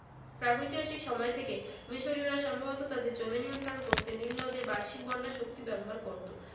প্রাগৈতিহাসিক সময় থেকে মিশরীয়রা সম্ভবত তাদের জমি নিয়ন্ত্রণ করতে নীলনদের বার্ষিক বন্যার শক্তি ব্যবহার করত